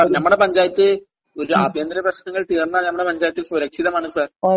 sir, നമ്മുടെ പഞ്ചായത്ത്..ഒരു..ആഭ്യന്തര പ്രശ്നങ്ങൾ തീർന്നാൽ നമ്മുടെ പഞ്ചായത്ത് സുരക്ഷിതമാണ് സാർ..